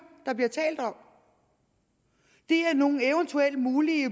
der bliver talt om det er nogle eventuelle mulige